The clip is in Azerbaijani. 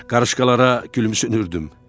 Qarışkalara gülümsünürdüm.